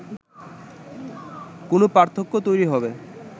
কোনো পার্থক্য তৈরি হবে